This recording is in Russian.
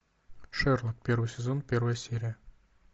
шерлок первый сезон первая серия